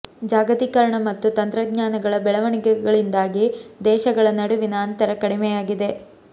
ಜಾಗತೀಕರಣ ಮತ್ತು ತಂತ್ರ ಜ್ಞಾನಗಳ ಬೆಳವಣಿಗೆಗಳಿಂದಾಗಿ ದೇಶ ಗಳ ನಡುವಿನ ಅಂತರ ಕಡಿಮೆಯಾಗಿದೆ